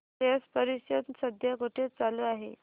स्लश परिषद सध्या कुठे चालू आहे